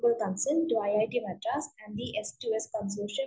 to consent it Madras and yes and B yes to us publish